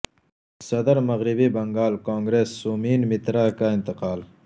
صدر مغربی بنگال کانگریس سومین مترا کا انتقال